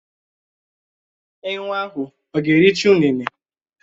Enwé ahụ ọ̀ ga-ericha ụnene?